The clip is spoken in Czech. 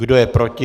Kdo je proti?